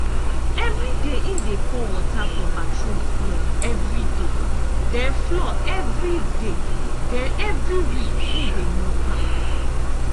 evri day im dey pour water for bathroom floor evriday den floor evriday den evri week im de mop am.